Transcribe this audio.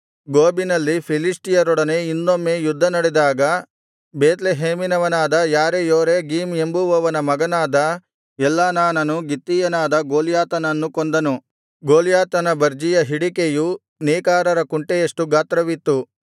ಗೋಬಿನಲ್ಲಿ ಫಿಲಿಷ್ಟಿಯರೊಡನೆ ಇನ್ನೊಮ್ಮೆ ಯುದ್ಧ ನಡೆದಾಗ ಬೇತ್ಲೆಹೇಮಿನವನಾದ ಯಾರೇಯೋರೆಗೀಮ್ ಎಂಬುವವನ ಮಗನಾದ ಎಲ್ಹಾನಾನನು ಗಿತ್ತೀಯನಾದ ಗೊಲ್ಯಾತನನ್ನು ಕೊಂದನು ಗೊಲ್ಯಾತನ ಬರ್ಜಿಯ ಹಿಡಿಕೆಯು ನೇಕಾರರ ಕುಂಟೆಯಷ್ಟು ಗಾತ್ರವಿತ್ತು